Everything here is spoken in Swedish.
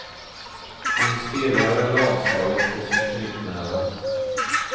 Hon stirrade lamslagen på sin knytnäve.